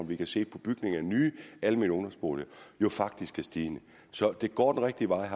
vi kan se på bygning af nye almene ungdomsboliger jo faktisk er stigende så det går den rigtige vej